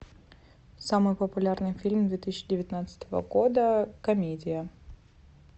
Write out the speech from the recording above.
самый популярный фильм две тысячи девятнадцатого года комедия